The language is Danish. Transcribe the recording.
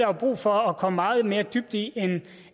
jo brug for at komme meget mere dybt i